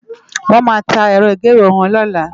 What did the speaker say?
Wòn má tá èrò igéwé wòn lòlá